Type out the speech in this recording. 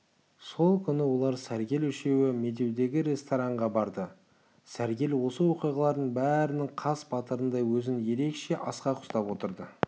сол күні олар сәргел үшеуі медеудегі ресторанға барды сәргел осы оқиғалардың бәрінің қас батырындай өзін ерекше асқақ ұстап отырды